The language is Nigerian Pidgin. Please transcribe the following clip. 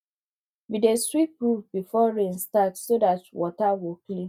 we dey sweep roof before rain start so dat water go clean